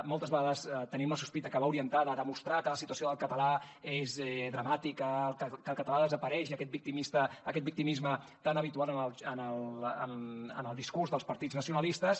moltes vegades tenim la sospita que va orientada a demostrar que la situació del català és dramàtica que el català desapareix i aquest victimisme tan habitual en el discurs dels partits nacionalistes